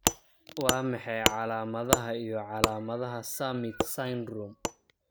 Waa maxay calaamadaha iyo calaamadaha Summitt syndrome?